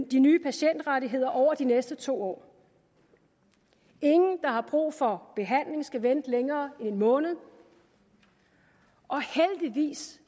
de nye patientrettigheder over de næste to år ingen der har brug for behandling skal vente længere end en måned og heldigvis